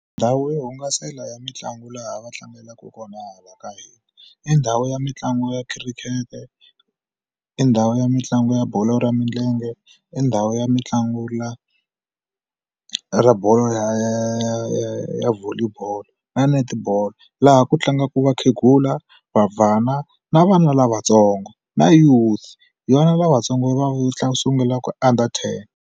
Ndhawu yo hungasela ya mitlangu laha va tlangelaka kona hala ka hina i ndhawu ya mitlangu ya khirikete i ndhawu ya mitlangu ya bolo ra milenge i ndhawu ya mitlangu la ra bolo ya ya volley ball na netball laha ku tlangaka vakhegula vabvana na vana lavatsongo na youth yona lavatsongo va sungulaka under ten.